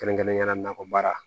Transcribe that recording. Kɛrɛnkɛrɛnnenya nakɔ baara